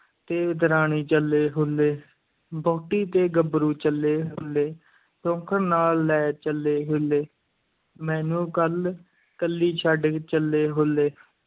ਤੇ ਦਰਾਣੀ ਚੱਲੇ ਹੱਲੇ, ਵਹੁਟੀ ਤੇ ਗੱਭਰੂ ਚੱਲੇ ਹੁੱਲੇ, ਸੌਂਕਣ ਨਾਲ ਲੈ ਚੱਲੇ ਹੱਲੇ, ਮੈਨੂੰ ਕੱਲ ਕੱਲੀ ਛੱਡ ਚੱਲੇ ਹੁੱਲੇ।